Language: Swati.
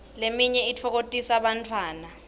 leminye itfokotisa bantfwana